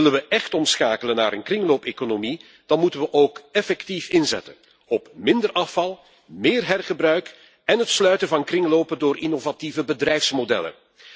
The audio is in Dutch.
Willen we echt omschakelen naar een kringloopeconomie, dan moeten we ook effectief inzetten op minder afval, meer hergebruik en het sluiten van kringlopen door innovatieve bedrijfsmodellen.